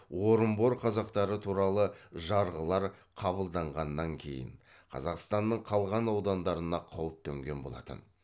орынбор қазақтары туралы жарғылар қабылданғаннан кейін қазақстанның қалған аудандарына қауіп төнген болатын